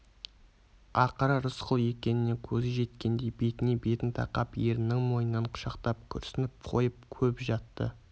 ақыры рысқұл екеніне көзі жеткендей бетіне бетін тақап ерінің мойнынан құшақтап күрсініп қойып көп жатты